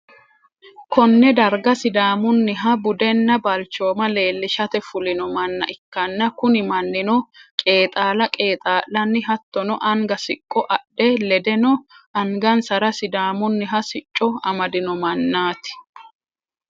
konne darga sidaamunniha budenna balchooma leellishate fulino manna ikkanna, kuni mannino qeexala qeexa'lanni hattono anga siqqo adhe ledeno angasara sidaamunniha sicco amadino mannaati.